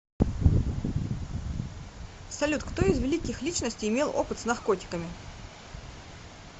салют кто из великих личностей имел опыт с наркотиками